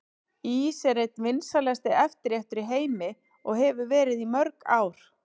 Ís er einn vinsælasti eftirréttur í heimi og hefur verið í mörg ár.